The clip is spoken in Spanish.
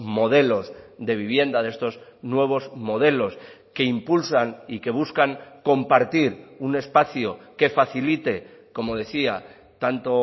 modelos de vivienda de estos nuevos modelos que impulsan y que buscan compartir un espacio que facilite como decía tanto